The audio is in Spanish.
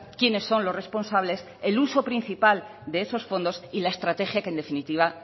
quiénes son los responsables el uso principal de esos fondos y la estrategia que en definitiva